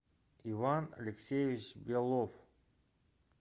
иван алексеевич белов